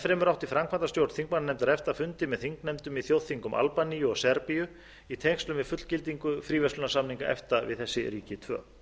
fremur átti framkvæmdastjórn þingmannanefndar efta fundi með þingnefndum í þjóðþingum albaníu og serbíu í tengslum við fullgildingu fríverslunarsamninga efta við þessi ríki tvö